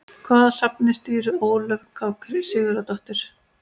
Hvaða safni stýrir Ólöf K Sigurðardóttir?